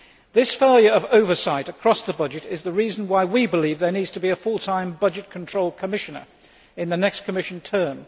This failure of oversight across the budget is the reason why we believe there needs to be a full time budget control Commissioner in the next Commission term.